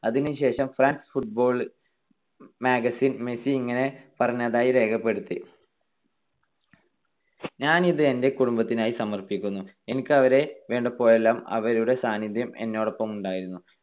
അതിനു ശേഷം, France football magazine Messi ഇങ്ങനെ പറഞ്ഞതായി രേഖപ്പെടുത്തി, ഞാനിത് എന്റെ കുടുംബത്തിനായി സമർപ്പിക്കുന്നു. എനിക്ക് അവരെ വേണ്ടപ്പോഴെല്ലാം അവരുടെ സാന്നിധ്യം എന്നോടൊപ്പമുണ്ടായിരുന്നു.